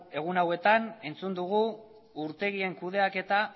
egun hauetan entzun dugu urtegien kudeaketa